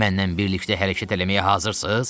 Mənnən birlikdə hərəkət eləməyə hazırsız?